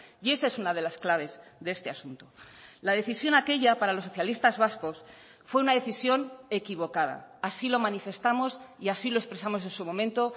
y esa es una de las claves de este asunto la decisión aquella para los socialistas vascos fue una decisión equivocada así lo manifestamos y así lo expresamos en su momento